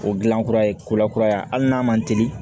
O gilan kura ye kura kura ye hali n'a ma teli